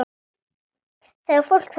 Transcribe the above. Það var fólk þarna inni!